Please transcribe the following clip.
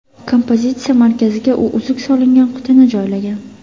Kompozitsiya markaziga u uzuk solingan qutini joylagan.